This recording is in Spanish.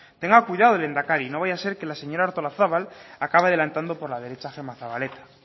tenga cuidado lehendakari no vaya a ser que la señora artolazabal acabe adelantando por la derecha a gemma zabaleta